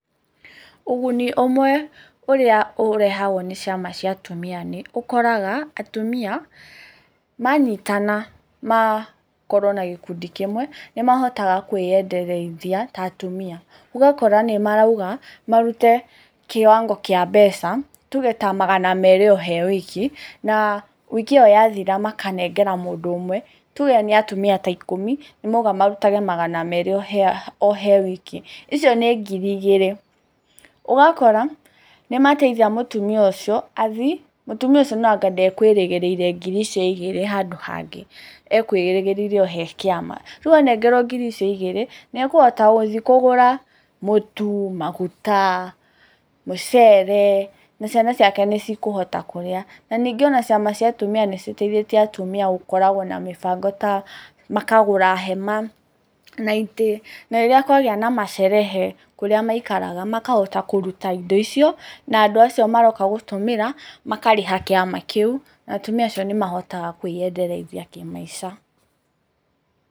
Ũguni ũmwe ũrĩa ũrehagwo nĩ ciama cia atumia nĩ, ũkoraga atumia manyitana, makorwo na gĩkundi kimwe nĩmahotaga kwĩyendereithia ta atumia. Ũgakora nĩmarauga marute kĩwango kĩa mbeca, tuge ta magana merĩ o he wiki. Na wiki ĩyo yathira makanengera mũndũ ũmwe. Tuge nĩ atumia ta ikũmi, nĩmauga marutage ta magana meri o he wiki. Icio ni ngiri igĩrĩ. Ugakora nĩmateithia mũtumia ũcio athii. Mũtumia ũcio nokorwo ndekwĩrĩgĩrĩire ngiri icio igĩrĩ handũ hangĩ. Ekwĩrĩgĩrĩire o hĩ kĩama. Rĩu anengerwo ngiri icio igĩrĩ, nĩekũhota gũthiĩ kũgũra mũtu, maguta, mucere, na ciana ciake nĩ cikũhota kũrĩa. Na ningĩ ona ciama cia atumia nĩciteithĩtie atumia gũkoragwo na mĩbango ta, makagũra hema, na itĩ. Na rĩrĩa kwagĩa na masherehe kũrĩa maikagaraga makahota kũruta indo icio na andũ acio maroka gũtũmĩra makarĩha kĩama kĩu. Atumia acio nĩmahotaga kwĩyendereithia kĩmaica.